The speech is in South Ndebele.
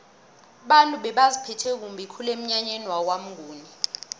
abantu bebaziphethe kumbi emnyanyeni kwamnguni